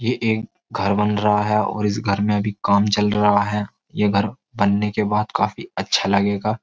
ये एक घर बन रहा है और इस घर में अभी काम चल रहा है ये घर बनने के बाद काफी अच्छा लगेगा।